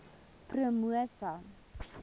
promosa